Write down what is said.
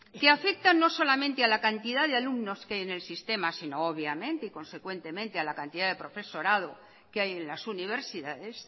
que afecta no solamente a la cantidad de alumnos que hay en el sistema sino obviamente y consecuentemente a la cantidad de profesorado que hay en las universidades